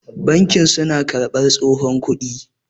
banki suna karbar tsohon kudi